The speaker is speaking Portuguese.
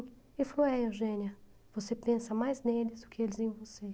Ele falou, é Eugênia, você pensa mais neles do que eles em você.